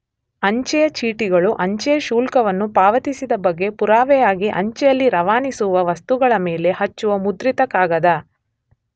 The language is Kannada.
ಅಂಚೆಯ ಚೀಟಿಗಳು ಅಂಚೆಯ ಶುಲ್ಕವನ್ನು ಪಾವತಿಸಿದ ಬಗ್ಗೆ ಪುರಾವೆಯಾಗಿ ಅಂಚೆಯಲ್ಲಿ ರವಾನಿಸುವ ವಸ್ತುಗಳ ಮೇಲೆ ಹಚ್ಚುವ ಮುದ್ರಿತ ಕಾಗದ.